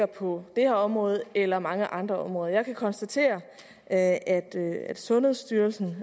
på det her område eller på mange andre områder jeg kan konstatere at sundhedsstyrelsen